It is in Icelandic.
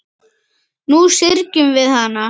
Nú syrgjum við hana.